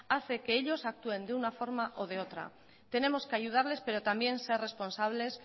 hace que ellos actúen de una forma o de otra tenemos que ayudarles pero también ser responsables